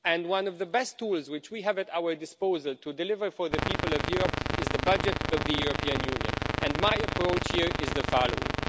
One of the best tools which we have at our disposal to deliver for the people of Europe is the budget of the European Union, and my approach here is the following.